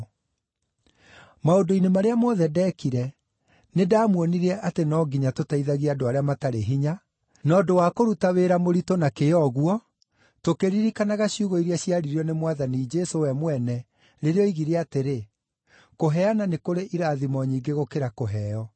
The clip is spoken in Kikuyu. Maũndũ-inĩ marĩa mothe ndeekire, nĩndamuonirie atĩ no nginya tũteithagie andũ arĩa matarĩ hinya, na ũndũ wa kũruta wĩra mũritũ ta ũcio, tũkĩririkanaga ciugo iria ciaririo nĩ Mwathani Jesũ we mwene rĩrĩa oigire atĩrĩ, ‘Kũheana nĩ kũrĩ irathimo nyingĩ gũkĩra kũheo.’ ”